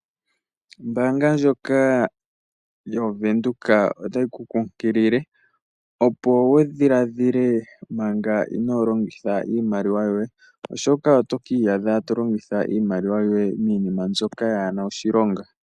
Ombaanga ndjoka ya Venduka otayi ku kunkilile opo wu dhiladhile manga inolongitha iimaliwa yoye, oshoka oto ka iyadha to longitha iimaliwa yoye miinima mbyoka yaana oshilonga.